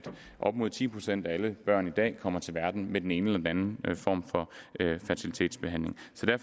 op mod ti procent af alle børn i dag kommer til verden med den ene eller den anden form for fertilitetsbehandling